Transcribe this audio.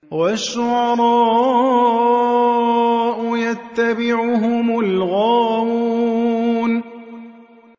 وَالشُّعَرَاءُ يَتَّبِعُهُمُ الْغَاوُونَ